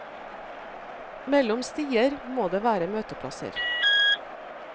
Mellom stier må det være møteplasser.